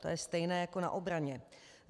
To je stejné jako na obraně.